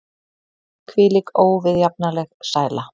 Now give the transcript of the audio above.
Hvílík óviðjafnanleg sæla!